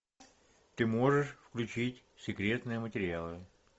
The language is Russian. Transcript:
ты можешь включить секретные материалы